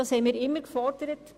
Das haben wir immer gefordert.